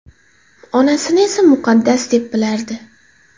Onasini esa muqaddas deb bilardi”.